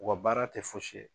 U ka baara tɛ fosi ye.